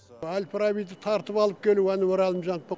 әл фарабиді тартып алып келуі әнуар әлімжановтың